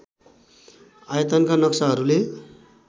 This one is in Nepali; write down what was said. आयतनका नक्साहरूले